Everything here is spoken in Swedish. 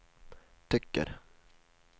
tycker